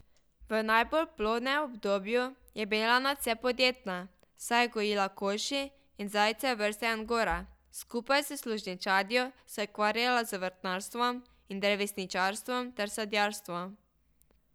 V najbolj plodnem obdobju je bila nadvse podjetna, saj je gojila kokoši in zajce vrste angora, skupaj s služinčadjo se je ukvarjala z vrtnarstvom in drevesničarstvom ter sadjarstvom.